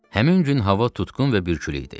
Həmin gün hava tutqun və bürkülü idi.